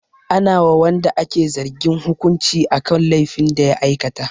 Ana wa wanda ake zargin hukunci akan laifin da ya aikata.